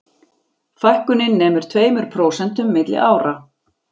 Fækkunin nemur tveimur prósentum milli ára